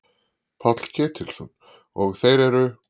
Páll Ketilsson: Og þeir eru?